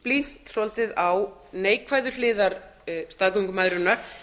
einblínt svolítið á neikvæðu hliðar staðgöngumæðrunar